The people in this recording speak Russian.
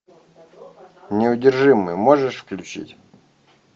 неудержимые можешь включить